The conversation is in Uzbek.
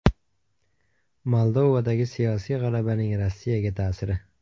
Moldovadagi siyosiy g‘alabaning Rossiyaga ta’siri.